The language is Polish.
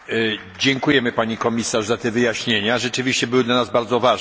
Dziękujemy pani komisarz za te wyjaśnienia, rzeczywiście były dla nas bardzo ważne.